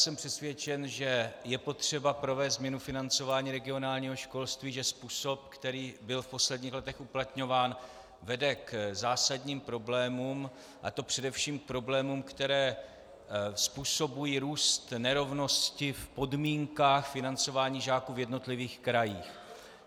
Jsem přesvědčen, že je potřeba provést změnu financování regionálního školství, že způsob, který byl v posledních letech uplatňován, vede k zásadním problémům, a to především k problémům, které způsobují růst nerovnosti v podmínkách financování žáků v jednotlivých krajích.